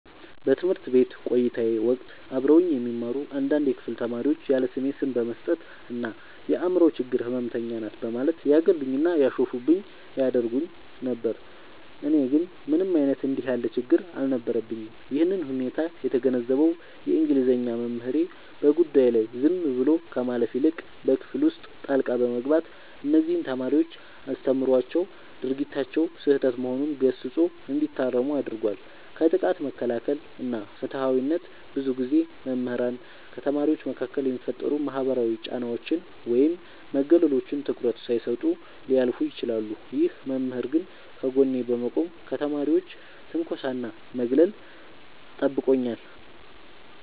በትምህርት ቤት ቆይታዬ ወቅት አብረውኝ የሚማሩ አንዳንድ የክፍል ተማሪዎች ያለስሜ ስም በመስጠት እና "የአምሮ ችግር ህመምተኛ ናት" በማለት ያገሉኝና ያሾፉብኝ ያደርጉኝ ነበር። እኔ ግን ምንም አይነት እንዲህ ያለ ችግር አልነበረብኝም። ይህንን ሁኔታ የተገነዘበው የእንግሊዘኛ መምህሬ፣ በጉዳዩ ላይ ዝም ብሎ ከማለፍ ይልቅ በክፍል ውስጥ ጣልቃ በመግባት እነዚያን ተማሪዎች አስተምሯቸዋል፤ ድርጊታቸውም ስህተት መሆኑን ገስጾ እንዲታረሙ አድርጓል። ከጥቃት መከላከል እና ፍትሃዊነት፦ ብዙ ጊዜ መምህራን ከተማሪዎች መካከል የሚፈጠሩ ማህበራዊ ጫናዎችን ወይም መገለሎችን ትኩረት ሳይሰጡ ሊያልፉ ይችላሉ። ይህ መምህር ግን ከጎኔ በመቆም ከተማሪዎች ትንኮሳና ማግለል ጠብቆኛል።